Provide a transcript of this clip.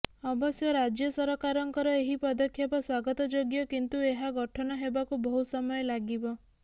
ଅବଶ୍ୟ ରାଜ୍ୟ ସରକାରଙ୍କର ଏହି ପଦକ୍ଷେପ ସ୍ୱାଗତଯୋଗ୍ୟ କିନ୍ତୁ ଏହା ଗଠନ ହେବାକୁ ବହୁ ସମୟ ଲାଗିବ